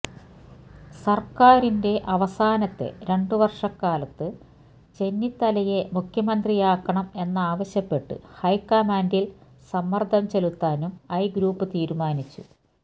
സര്ക്കാരിന്റെ അവസാനത്തെ രണ്ടു വര്ഷക്കാലത്ത് ചെന്നിത്തലയെ മുഖ്യമന്ത്രിയാക്കണം എന്നാവശ്യപ്പെട്ട് ഹൈക്കമാന്റില് സമ്മര്ദ്ദം ചെലുത്താനും ഐ ഗ്രൂപ്പ് തീരുമാനിച്ചു